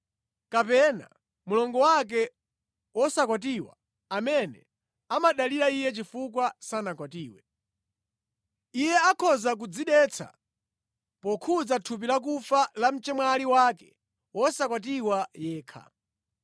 kapena mlongo wake wosakwatiwa amene amadalira iye chifukwa sanakwatiwe. Iye akhoza kudzidetsa pokhudza thupi lakufa la mchemwali wake wosakwatiwa yekha.